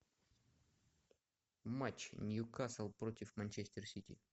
матч ньюкасл против манчестер сити